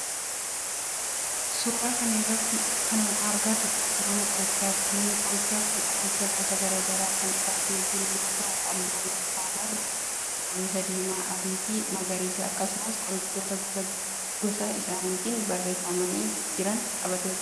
Suuraa kana irratti kana agarru mana qorichaati. Manni qorichaa kun qoricha gosa garaagaraa kan qabatee jiru yoo tahu halluun agarru cuqulisa, diimaa, adii, magariisa akkasumas qorichoota gosa gosa isaanitin tarreeffamanii jiran qabatee jira